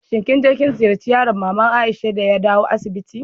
Kin je kin ziyace yaron mama'n Aisha de ya dawo asibitin?